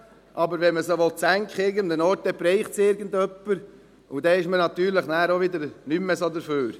Aber wenn man sie irgendwo senken will, dann trifft es irgendjemanden, und dann ist man natürlich wieder nicht mehr so dafür.